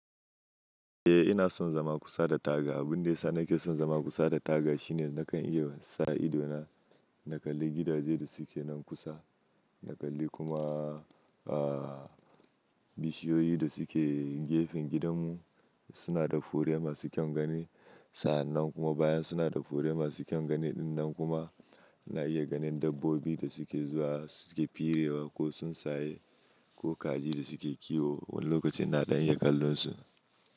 Eh ina son zama kusa da taga. Abun da yasa nake son zama kusa da taga shine nakan iya sa ido na, na kalli gidaje da suke nan kusa, na kalli kuma bishiyoyi da suke gefen gidanmu suna da fure masu kyan gani. Sa'an nan kuma bayan suna da fure masu kyan gani dinnan kuma na iya ganin dabbobi da suke zuwa suke firewa ko sun saye ko kaji da suke kiwo. Wani lokacin na daina kallonsu.